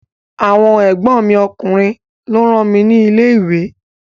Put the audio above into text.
Àwọn ègbón mi ọkùnrin lọ rán mi ni ilé ìwé